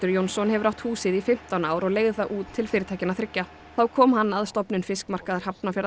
Jónsson hefur átt húsið í fimmtán ár og leigði það út til fyrirtækjanna þriggja þá kom hann að stofnun fiskmarkaðar